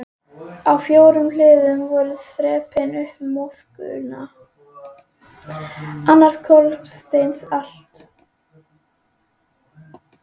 Á fjórðu hliðina voru þrepin upp í moskuna.